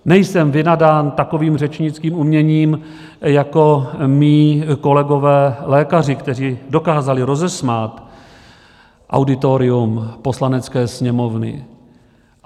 Nejsem nadán takovým řečnickým uměním jako mí kolegové lékaři, kteří dokázali rozesmát auditorium Poslanecké sněmovny.